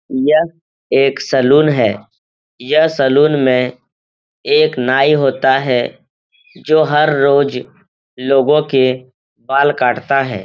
यह एक सैलून है। यह सैलून में एक नाई होता है जो हर रोज़ लोगों के बाल काटता है।